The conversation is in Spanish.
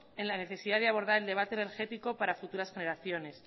en la necesidad de abordar el debate energético para futuras generaciones